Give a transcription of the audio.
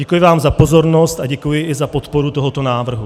Děkuji vám za pozornost a děkuji i za podporu tohoto návrhu.